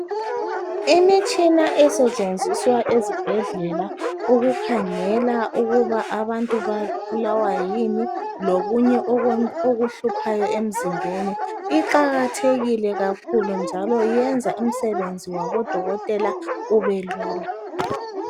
Imitshina esetshenziswa ezibhedlela ukukhangela ukuba abantu babulawa yini lokunye okuhluphayo emzimbeni iqakathekile kakhulu njalo iyenza umsebenzi wabo dokotela ubelula.